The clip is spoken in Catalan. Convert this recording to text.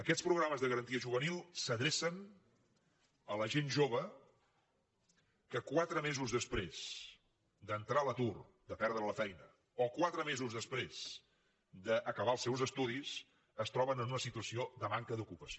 aquests programes de garantia juvenil s’adrecen a la gent jove que quatre mesos després d’entrar a l’atur de perdre la feina o quatre mesos després d’acabar els seus estudis es troben en una situació de manca d’ocupació